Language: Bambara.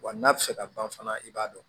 Wa n'a bɛ se ka ban fana i b'a dɔn